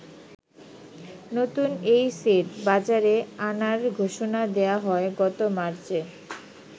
নতুন A set বাজারে আনার ঘোষণা দেয়া হয় গত মার্চে।